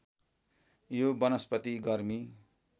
यो वनस्पति गर्मी